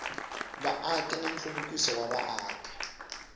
vaaki na nhluvukiso wa vaaki